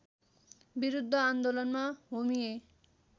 विरूद्ध आन्दोलनमा होमिएँ